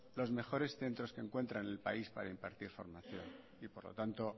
los mejores centros que encuentra en el país para impartir formación y por lo tanto